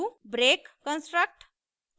break construct